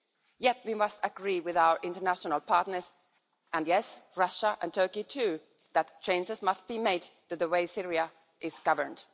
Yet we must agree with our international partners and yes, Russia and Turkey too that changes must be made to the way Syria is governed.